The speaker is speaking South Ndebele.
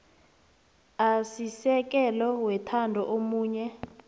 asisekelo wethando omunye